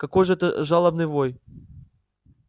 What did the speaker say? какой же это жалобный вой